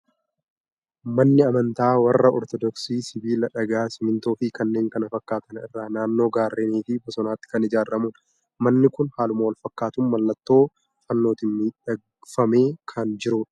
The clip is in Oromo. Manni amantaa warra Ortoodoksii sibiila, dhagaa, simmintoo fi kanneen kana fakkaatan irraa naannoo gaarreenii fi bosonaatti kan ijaaramudha. Manni kun haaluma wal fakkaatuun malla ttoo fannootiin miidhagfamee kan jiru dha.